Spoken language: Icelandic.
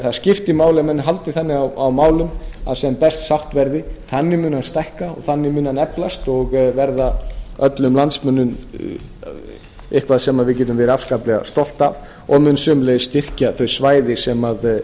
það skiptir máli að menn haldi þannig á málum að sem best sátt verði þannig mun hann stækka þannig mun hann eflast og verða öllum landsmönnum eitthvað sem við getum verið afskaplega stolt af og mun sömuleiðis styrkja þau svæði sem